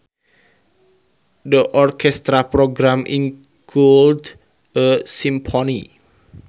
The orchestral program included a symphony